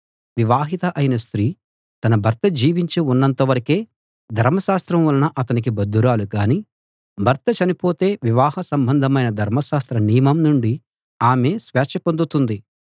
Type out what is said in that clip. వివాహిత అయిన స్త్రీ తన భర్త జీవించి ఉన్నంత వరకే ధర్మశాస్త్రం వలన అతనికి బద్ధురాలు గాని భర్త చనిపోతే వివాహ సంబంధమైన ధర్మశాస్త్ర నియమం నుండి ఆమె స్వేచ్ఛ పొందుతుంది